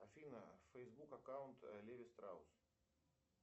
афина фейсбук аккаунт леви страус